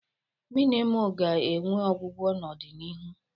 Mmịnwụ ga-enwe ọgwụgwọ n'ọdịnihu.